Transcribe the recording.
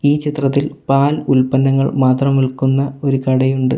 ഈ ചിത്രത്തിൽ പാൽ ഉൽപ്പന്നങ്ങൾ മാത്രം വിൽക്കുന്ന ഒരു കടയുണ്ട്.